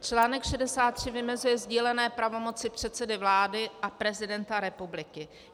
Článek 63 vymezuje sdílené pravomoci předsedy vlády a prezidenta republiky.